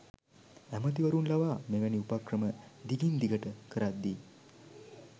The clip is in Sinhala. ඇමතිවරු ලවා මෙවැනි උපක්‍රම දිගින් දිගට කරද්දී